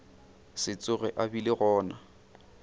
se tsoge a bile gona